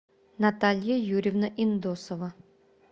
наталья юрьевна индосова